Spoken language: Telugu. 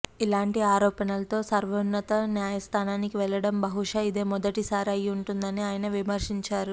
ఇలాంటి ఆరోపణలతో సర్వోన్నత న్యాయస్థానానికి వెళ్లడం బహుషా ఇదే మొదటి సారి అయింటుందని ఆయన విమర్శించారు